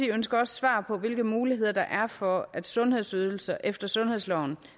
ønsker også svar på hvilke muligheder der er for at sundhedsydelser efter sundhedsloven